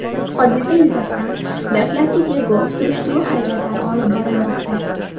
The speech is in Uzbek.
Hodisa yuzasidan dastlabki tergov-surishtiruv harakatlari olib borilmoqda.